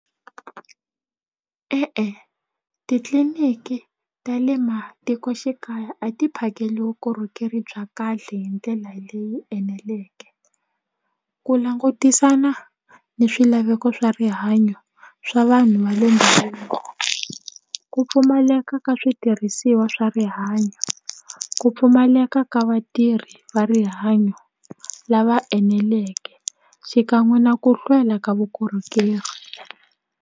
E-e titliliniki ta le matikoxikaya a ti phakeli vukorhokeri bya kahle hi ndlela leyi eneleke ku langutisana ni swilaveko swa rihanyo swa vanhu va le ku pfumaleka ka switirhisiwa swa rihanyo ku pfumaleka ka vatirhi va rihanyo lava eneleke xikan'we na ku hlwela ka vukorhokeri.